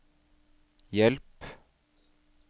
hjelp